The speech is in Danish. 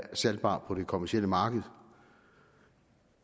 salgbar på det kommercielle marked